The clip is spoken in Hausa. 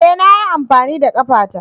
E! Na yi amfani da ƙafata.